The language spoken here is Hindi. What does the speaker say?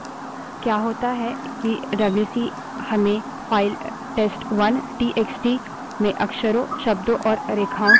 क्या होता है कि डब्ल्यूसी हमें फाइल test1 टीएक्सटी में अक्षरों शब्दों और रेखाओं की संख्या बतायेगा